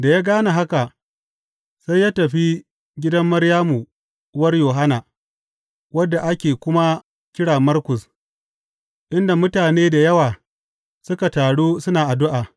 Da ya gane haka, sai ya tafi gidan Maryamu uwar Yohanna, wanda ake kuma kira Markus, inda mutane da yawa suka taru suna addu’a.